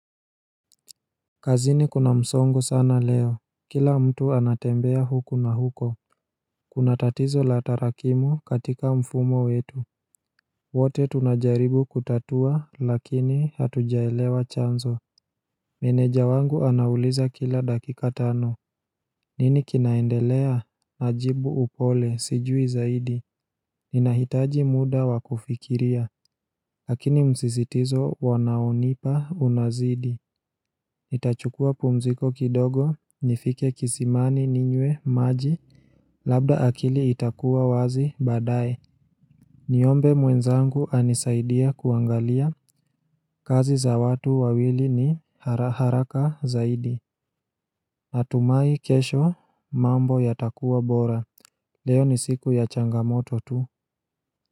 Kazini kuna msongo sana leo Kila mtu anatembea huku na huko Kuna tatizo la tarakimu katika mfumo wetu wote tunajaribu kutatua lakini hatujaelewa chanzo Meneja wangu anauliza kila dakika tano nini kinaendelea ajibu upole sijui zaidi Ninahitaji muda wakufikiria Lakini msisitizo wanaonipa unazidi Itachukua pumziko kidogo nifike kisimani ninywe maji Labda akili itakua wazi baadaye Niombe mwenzangu anisaidia kuangalia kazi za watu wawili ni hara haraka zaidi Atumai kesho mambo yatakuwa bora Leo ni siku ya changamoto tu.